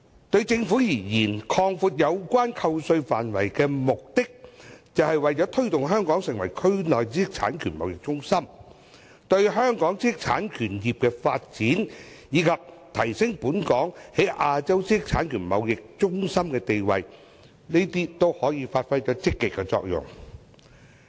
對政府而言，擴闊有關扣稅範圍的目的，是為了推動香港成為區內知識產權貿易中心，並對香港知識產權業的發展，以及提升本港作為亞洲知識產權貿易中心的地位，發揮積極作用。